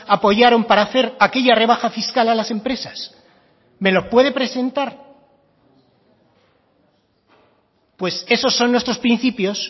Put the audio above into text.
apoyaron para hacer aquella rebaja fiscal a las empresas me lo puede presentar pues esos son nuestros principios